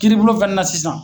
Kiiribulon fɛnɛ na sisan